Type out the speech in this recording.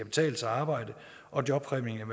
betale sig at arbejde og jobpræmien kan